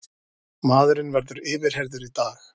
Maðurinn verður yfirheyrður í dag